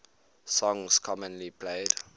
songs commonly played